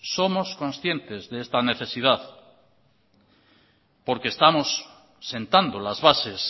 somos conscientes de esta necesidad porque estamos sentando las bases